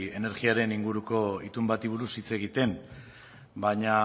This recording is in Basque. energiaren inguruko itun bati buruz hitz egiten baina